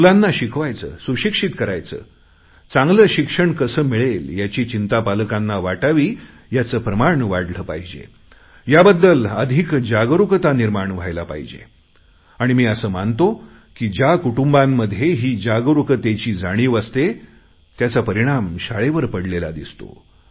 मुलांना शिकवायचे सुशिक्षित करायचे चांगले शिक्षण कसे मिळेल याची चिंता पालकांना वाटावी याचे प्रमाण वाढले पाहिजे आणि मी असे मानतो की ज्या कुटुंबांमध्ये ही जागरुकतेची जाणीव असते त्याचा परिणाम शाळेवर पडलेला दिसतो